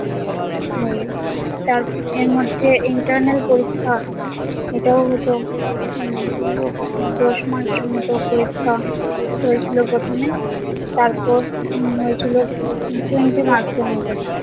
হয় তার এর মধ্যে internal পরীক্ষা এটাও হতো উম দশ mark এর মতো পরীক্ষা হয়েছিল প্রথমে তারপর উম হয়েছিল twenty marks এর মতো